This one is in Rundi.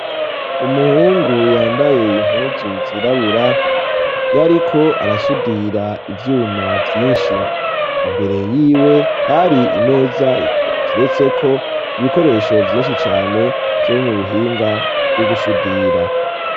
Umuhungu yambaye impuzu zirabura yariko arasudira ivyuma vyinshi imbere yiwe hari imeza iteretseko ibikoresho vyinshi cane vyo mu buhinga bwo gusudira.